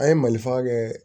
An ye malifa kɛ